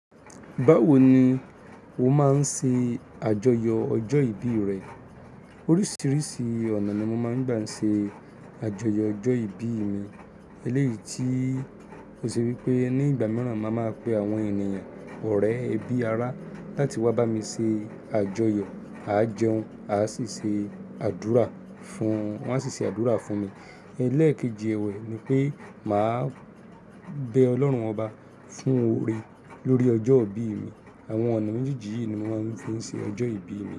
Báwo ni o máa ń ṣe àjọyọ̀ ọjọ́ ìbí rẹ? Oríṣiríṣi ọ̀nà ni mo máa ń gbà ń ṣe àjọyọ̀ ọjọ́ ìbí mi. Eléyìí tí ó ṣe wípé ní ìgbà mìíràn máa ma pe àwọn ènìyàn ọ̀rẹ́ ẹbí ara láti wá bá mi ṣe àjọyọ̀, a jẹun, a sì ṣe àdúrà fún-- wọ́n á sì ṣe àdúrà fún mi. Ẹlẹ́ẹ̀kejì ẹ̀wẹ̀ ni pé mà á bẹ Ọlọ́run ọba fún oore lórí ọjọ́ ìbí mi. Àwọn ọ̀nà méjì yìí ni mo máa ń fi ṣe ọjọ́ ìbí mi.